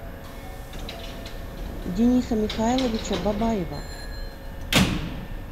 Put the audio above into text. дениса михайловича бабаева